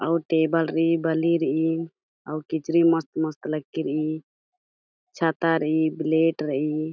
अउर टेबल रई बली रई अउर किचरी मस्त-मस्त लग्गी रई छाता रई प्लेट रई ।